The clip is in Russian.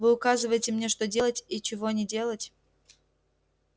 вы указываете мне что делать и чего не делать